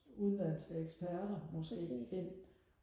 udenlandske eksperter måske ind